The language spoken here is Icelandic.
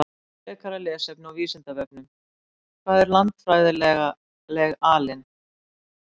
Frekara lesefni á Vísindavefnum: Hvað er landfræðileg alin?